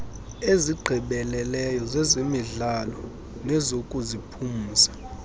ezigqibeleleyo zezemidlalo nezokuziphumza